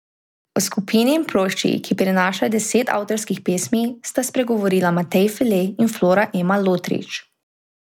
O skupini in plošči, ki prinaša deset avtorskih pesmi, sta spregovorila Matej Fele in Flora Ema Lotrič.